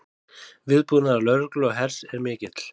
Viðbúnaður lögreglu og hers er mikill